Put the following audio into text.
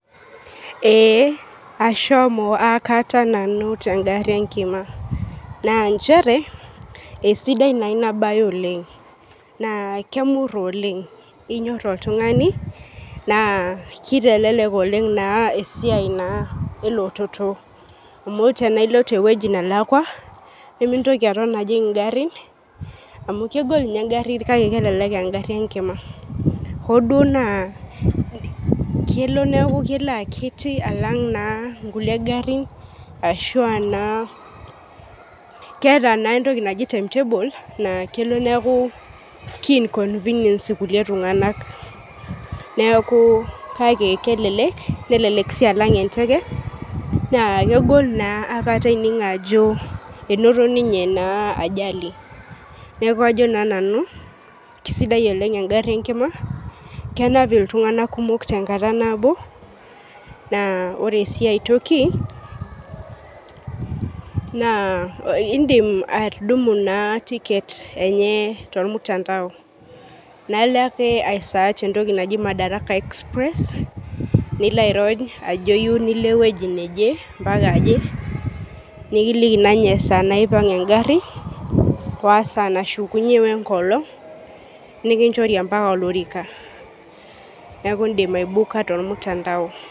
Ee ashomo akata nanu tengari enkima na nchere esidai inabae oleng na inyor oltungani amu kitelek oleng esiai na elototo amu tanaailoiti ewoi nalakwa nimintoki ajing ngarin amu kegol engari kelek engari enkima hoo duo naa kelo neaku kelo akiti alanng nkulie garin, keetaentoki naji timetable na kelo neaku ki inconvenient irkulie tunganak neaku kake kelek si alang enteke na kegol naa inakata enining ajo inoto ninye ajali neaku ajo na nanu kisidai oleng engaru enkima kenap ltunganak pookin tenkata nabo na ore si aitoki na indim atudumu ticket enye tormutandao na ilo ake aisearch madaraka exprees nilo airony ajo iyieu nilobewoi naje nikiliki esaa naipang engari wesaa nashukunye wenkolong nikinchori mbaka olorika neaku indim aibooker tormutandao